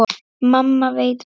Mamma veit best.